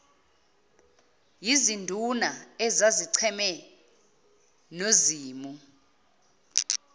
yizinduna ezazicheme nozimu